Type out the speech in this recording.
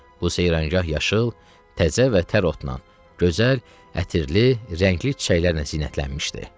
Bu seyranqah yaşıl, təzə və tər otla, gözəl, ətirli, rəngli çiçəklərlə zinətlənmişdi.